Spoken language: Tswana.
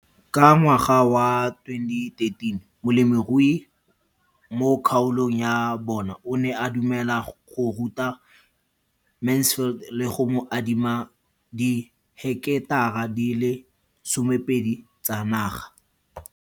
Ka ngwaga wa 2013, molemirui mo kgaolong ya bona o ne a dumela go ruta Mansfield le go mo adima di heketara di le 12 tsa naga.